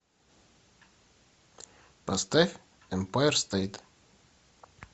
поставь эмпайр стейт